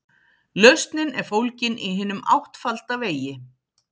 Lausnin er fólgin í hinum áttfalda vegi.